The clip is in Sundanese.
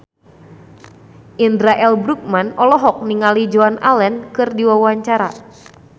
Indra L. Bruggman olohok ningali Joan Allen keur diwawancara